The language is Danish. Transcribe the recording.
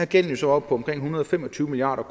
gælden så oppe på omkring en hundrede og fem og tyve milliard